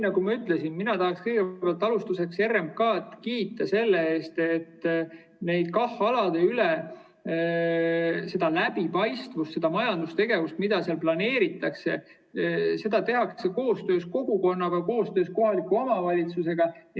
Nagu ma ütlesin, mina tahaksin kõigepealt RMK‑d kiita läbipaistvuse eest, sest kui KAH‑aladel planeeritakse majandustegevust, siis seda tehakse koostöös kogukonnaga, koostöös kohaliku omavalitsusega.